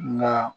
Nka